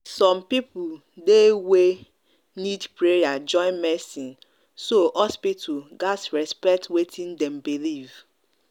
some people dey wey need prayer join medicine so hospital gats respect wetin dem believe.